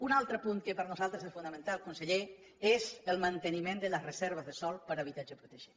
un altre punt que per nosaltres és fonamental conseller és el manteniment de les reserves de sòl per a habitatge protegit